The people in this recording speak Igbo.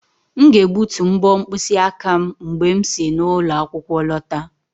M ga-egbutu mbo mkpịsị aka m mgbe m si n'ụlọ akwụkwọ lọta